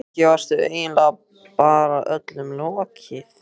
Mikið varstu hissa, eiginlega bara öllum lokið.